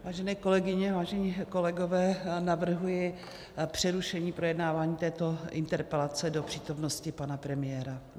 Vážené kolegyně, vážení kolegové, navrhuji přerušení projednávání této interpelace do přítomnosti pana premiéra.